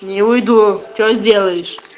не уйду что сделаешь